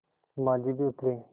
माँझी भी उतरे